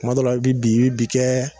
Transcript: Kuma dɔ la i bi i bi bi kɛ